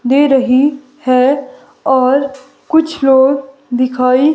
दे रही है और कुछ लोग दिखाई--